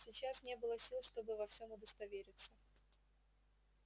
сейчас не было сил чтобы во всём удостовериться